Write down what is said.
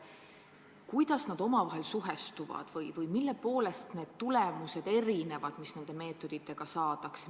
Kuidas need omavahel suhestuvad ja mille poolest need tulemused erinevad nendest, mis tavaliste meetoditega saadakse?